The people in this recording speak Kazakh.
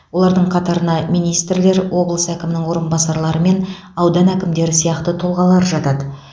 олардың қатарына министрлер облыс әкімінің орынбасарлары мен аудан әкімдері сияқты тұлғалар жатады